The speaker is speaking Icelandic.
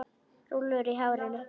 Rúllur í hárinu.